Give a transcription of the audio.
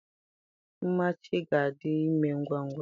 Nmachi ga-adi ime ngwa ngwa